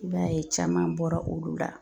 I b'a ye caman bɔra olu la